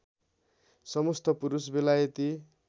समस्त पुरुष बेलायती